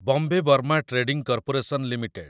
Bombay Burma trading corporation limited